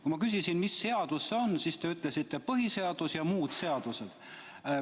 Kui ma küsisin, mis seadus see on, siis te ütlesite, et põhiseadus ja muud seadused.